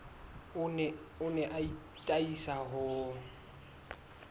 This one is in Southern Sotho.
o ne a atisa ho